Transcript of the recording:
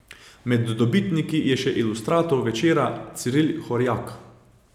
Med dobitniki je še ilustrator Večera Ciril Horjak.